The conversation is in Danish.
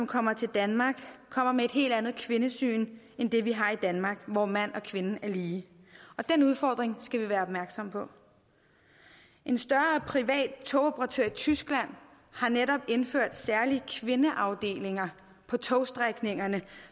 kommer til danmark kommer med et helt andet kvindesyn end det vi har i danmark hvor mand og kvinde er lige og den udfordring skal vi være opmærksom på en større privat togoperatør i tyskland har netop indført særlige kvindeafdelinger på togstrækningerne